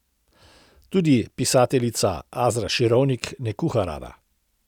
Tudi pisateljica Azra Širovnik ne kuha rada.